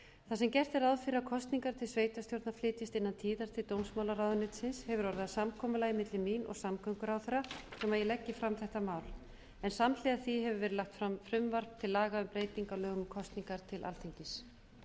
þar sem gert er ráð fyrir að kosningar til sveitarstjórna flytjist innan tíðar til dómsmálaráðuneytisins hefur orðið að samkomulagi milli mín og samgönguráðherra um að ég leggi fram þetta mál en samhliða því hefur verið lagt fram frumvarp til laga um breytingu á lögum um kosningar til alþingis